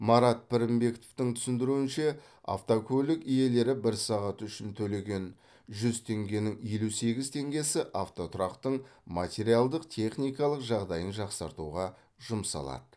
марат пірінбековтың түсіндіруінше автокөлік иелері бір сағат үшін төлеген жүз теңгенің елу сегіз теңгесі автотұрақтың материалдық техникалық жағдайын жақсартуға жұмсалады